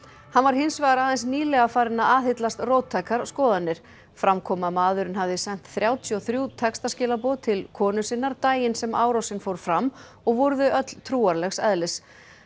hann var hins vegar aðeins nýlega farinn að aðhyllast róttækar skoðanir fram kom að maðurinn hafði sent þrjátíu og þrjú textaskilaboð til konu sinnar daginn sem árásin fór fram og voru þau öll trúarlegs eðlis